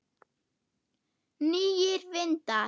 Nýir vindar?